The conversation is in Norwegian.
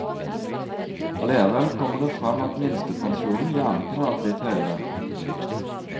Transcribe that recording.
Allikevel kommer det frem at minstepensjonen gjerne kunne vært litt høyere.